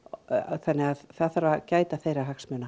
þannig að það þarf að gæta þeirra hagsmuna